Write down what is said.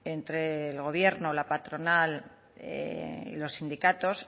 entre el gobierno la patronal y los sindicatos